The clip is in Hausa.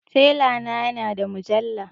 Tela na ya na da mujalla